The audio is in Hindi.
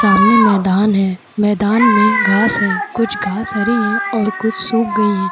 सामने मैदान है। मैदान में घास है। कुछ घास हरी है और कुछ सुख गई है।